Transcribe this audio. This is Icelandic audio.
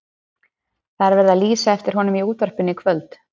Það var verið að lýsa eftir honum í útvarpinu í kvöld.